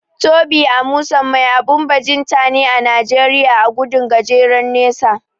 Tobi Amusan mai abun bajinta ne a Najeriya a gudun gajeren nesa.